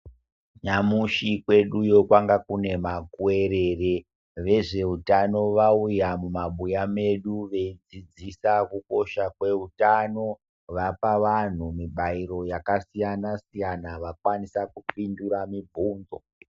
Nyamushi kwedu iyo kwanga kune makuwerere. Vezveutano vauya mumabuya medu veidzidzisa kukosha kweutano. Vapa vanhu mibairo yakasiyana siyana vakwanisa kupindura mibvunzo.